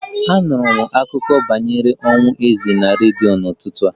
Anụrụ m akụkọ banyere ọnwụ eze na redio n'ụtụtụ a